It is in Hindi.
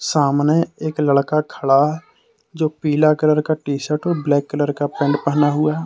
सामने एक लड़का खड़ा जो पीला कलर का टी शर्ट और ब्लैक कलर का पेंट पहना हुआ--